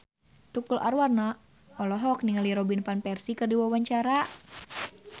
Tukul Arwana olohok ningali Robin Van Persie keur diwawancara